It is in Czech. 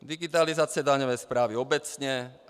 Digitalizace daňové správy obecně.